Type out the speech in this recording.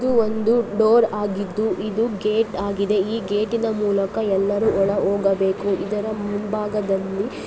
ಒಂದು ಡೋರ್ ಆಗಿದ್ದು ಇದು ಗೇಟ್ ಆಗಿದೆ ಈ ಗೇಟಿನ ಮೂಲಕ ಎಲ್ಲರೂ ಒಳ ಹೋಗಬೇಕು ಇದರ ಮುಂಭಾಗದಲ್ಲಿ --